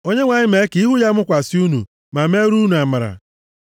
Onyenwe anyị mee ka ihu ya mụkwasị unu, ma meere unu amara, + 6:25 \+xt Jen 43:29\+xt*